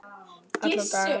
Alla daga.